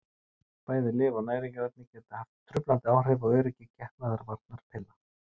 Bæði lyf og næringarefni geta haft truflandi áhrif á öryggi getnaðarvarnarpilla.